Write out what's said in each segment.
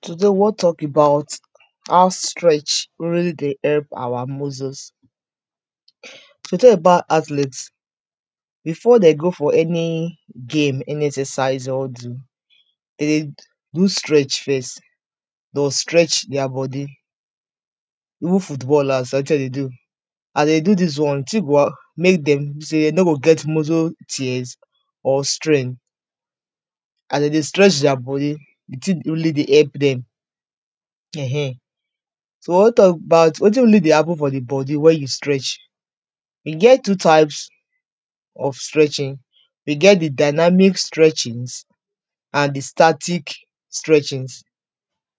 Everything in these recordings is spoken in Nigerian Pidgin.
today we wan tok about how stretch really dey help awa muscles so we tok about athletes before dey go for any game, any exercise dey wan do de dey do stretch first doh stretch deir body even footballers na wetin dem dey do as dem dey do dis one the ting go make dem sey dey no go get muscle tears or strain as dem dey stretch deir body the ting really dey help dem um so we wan tok about wetin really dey happen for the body when you stretch he get two types of stretching we get the dynamic stretchings and the static stretchings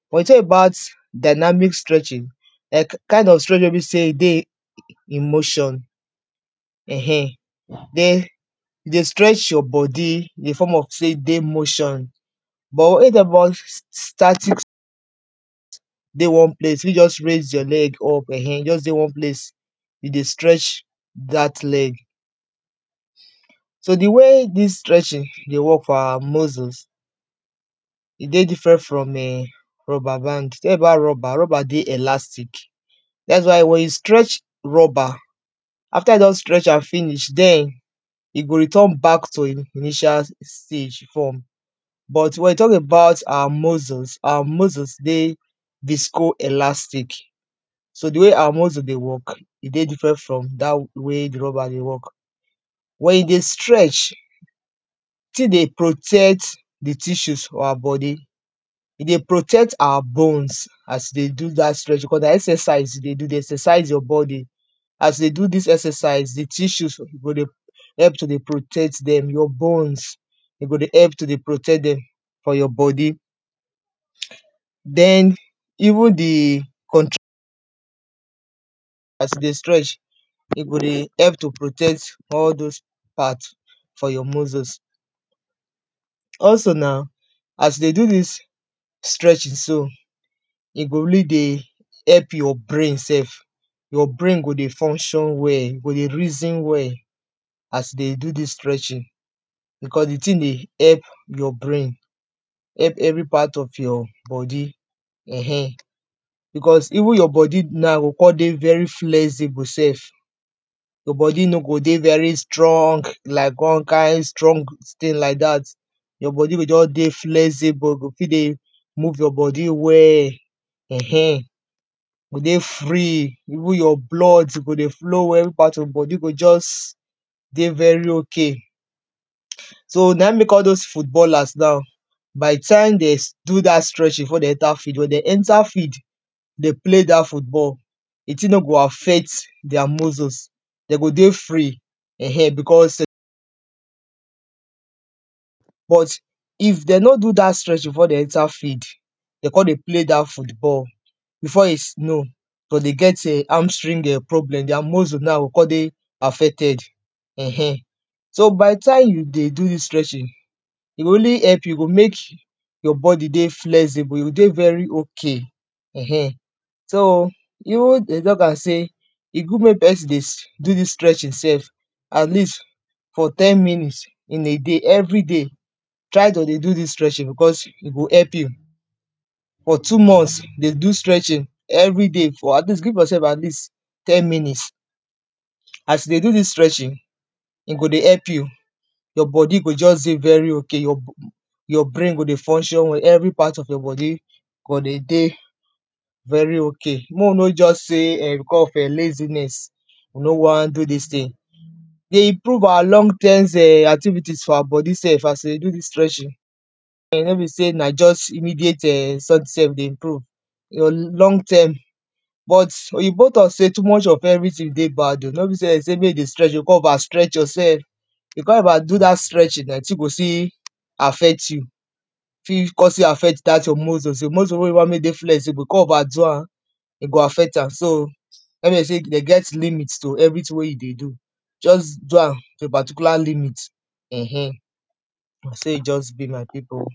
when we tok about dynamic stretching like kind of stretching wey be sey he dey in motion [um]den dey stretch your body in the form of sey he dey motion but when we tok about s s static dey one place, you fi just raise your leg up, [um]just dey one place you dey stretch dat leg. so, the way dis stretching dey work for awa muscles he dey different from um rubber band tok about rubber, rubber dey elastic dats why when you stretch rubber after you don stretch am finish, den he go return back to he initial stage from but when we tok about awa muscles awa muscles dey disco elastic so the way awa muscle dey work he dey different from dat way the rubber dey work when you dey stretch still dey protect the tissues for awa body he dey protect awa bones as you dey do dat stretching, because na exercise you dey do, you dey exercise your body as you dey do dis exercise the tissues go dey help to dey protect dem your bones he go dey help to dey protect dem for your body den even the conch as you dey stretch he go dey help to protect all dose part for your muscles also na as you dey do dis stretching so he go really dey help your brain sef your brain go dey function well, go dey reason well as you dey do dis stretching because the ting dey help your brain help every part of your body um because even your body na go con dey very flexible sef your body no go dey very strong like one kind strong steel like dat your body go just dey flexible go fi dey move your body well um go dey free even your blood go dey flow well every part of your body go just, dey very ok so na in mek all dose footballers na by the time des do dat stretching before de enter field, when de enter field de play dat football the ting no go affect deir muscles de go dey free um, because but if dem no do dat sretching before dem enter field dem con dey play dat football before you know doh dey get um arm string um problem deir muscle na go con dey affected um so by the time you dey do dis stretching he go really help you, he go mek your body dey flexible, you go dey very ok eh um so even dey tok am sey he good mek person deys do dis stretching sef at least for ten minutes in a day, everyday try to dey do dis stretching because, he go help you for two months dey do stretching everyday for at least, give yoursef at least ten minutes as you dey do dis stretching he go dey help you your body go just dey very ok your brain go dey function well, every part of your body go de dey very ok, mek we no just say because of um laziness we no wan do dis ting dey improve awa long terms um activities for awa body sef as we dey do dis stretching no be sey na just immediate um sef we dey improve your long term but, oyibo tok sey too much of everyting dey bad o, no be sey dem sey mek you stretch you go con over stretch yoursef you con overdo dat stretching um, the ting go still, affect you fi con still affect dat your muscles, muscle wey you want mek he dey flexible so con overdo am he go affect am, so when dem sey dem get limit to everyting wey you dey do just do am to a particular limit um na so he just be my pipo